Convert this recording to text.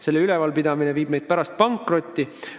Selle rajatise üleval pidamine viib meid pärast pankrotti.